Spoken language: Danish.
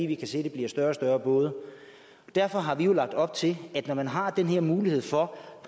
vi kan se der bliver større og større både derfor har vi jo lagt op til at når man har den her mulighed for